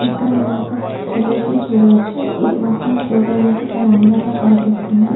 ఇక్కడ మనము ఒక ప్రదేశం చూడవచ్చు.ఇది మొత్తం చూడటానికి చాలా అందంగా కనిపిస్తుంది.